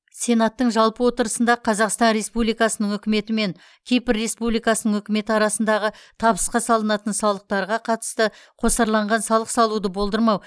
сенаттың жалпы отырысында қазақстан республикасының үкіметі мен кипр республикасының үкіметі арасындағы табысқа салынатын салықтарға қатысты қосарланған салық салуды болдырмау